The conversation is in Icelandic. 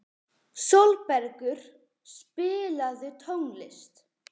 Sólbergur, spilaðu tónlist.